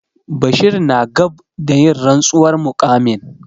Bashir na gab da yin rantsuwar muƙamin.